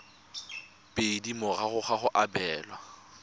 pedi morago ga go abelwa